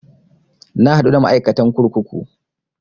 Na haɗu da ma'aikatan kurkuku